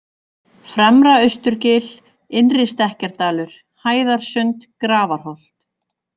Fremra-Austurgil, Innri-Stekkjardalur, Hæðarsund, Grafarholt